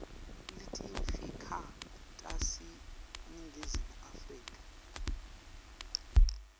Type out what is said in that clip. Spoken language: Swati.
letiyimfica taseningizimu afrika